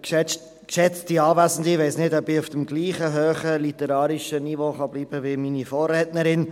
Ich weiss nicht, ob ich auf dem gleichen hohen literarischen Niveau bleiben kann wie meine Vorrednerin.